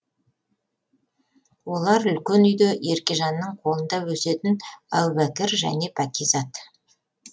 олар үлкен үйде еркежанның қолында өсетін әубәкір және пәкизат